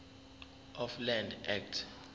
of land act